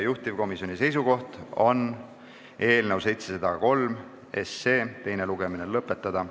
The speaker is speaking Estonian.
Juhtivkomisjoni seisukoht on eelnõu 703 teine lugemine lõpetada.